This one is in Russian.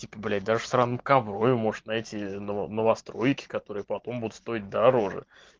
типа блять даже в сраном коврове можешь найти новостройки которые потом будут стоить дороже